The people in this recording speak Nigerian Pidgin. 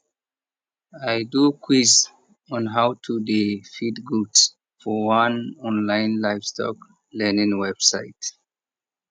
i do quiz on how to dey feed goat for one online livestock learning website